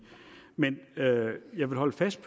men jeg vil holde fast